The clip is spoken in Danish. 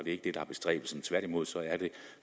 ikke det der er bestræbelsen tværtimod er det